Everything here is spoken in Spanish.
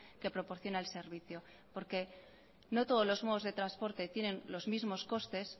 que proporciona el servicio porque no todos los modos de transporte tienen los mismos costes